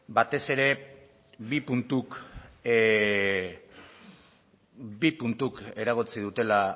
batez ere bi puntuk eragotzi dutela